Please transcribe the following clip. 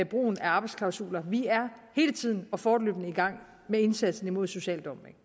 brugen af arbejdsklausuler og vi er hele tiden og fortløbende i gang med indsatsen imod social dumping